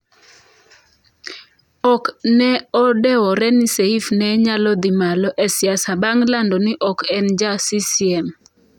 Ok ne odewore ni Seif ne nyalo dhi malo e siasa bang' lando ni ok en ja CCM.